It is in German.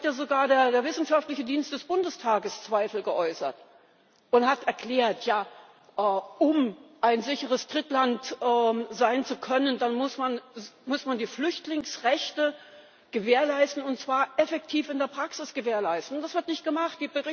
Es hat ja sogar der wissenschaftliche Dienst des Bundestages Zweifel geäußert und erklärt Ja, um ein sicheres Drittland sein zu können, muss man die Flüchtlingsrechte gewährleisten, und zwar effektiv in der Praxis gewährleisten, und das wird nicht gemacht.